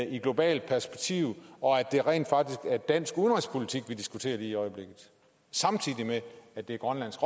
i et globalt perspektiv og at det rent faktisk er dansk udenrigspolitik vi diskuterer lige i øjeblikket samtidig med at det er grønlands